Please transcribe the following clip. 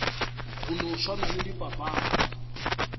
go no swana le dipapadi